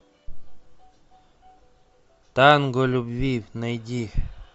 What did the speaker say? танго любви найди